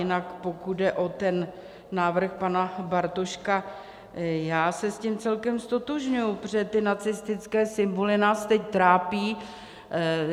Jinak pokud jde o ten návrh pana Bartoška, já se s tím celkem ztotožňuji, protože ty nacistické symboly nás teď trápí.